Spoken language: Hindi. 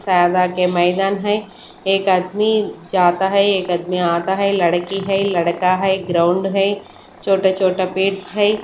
सादा के मैदान है एक आदमी जाता है लड़की आता है एक लड़की है एक लड़का है ग्राउंड है छोटा छोटा पेट्स है।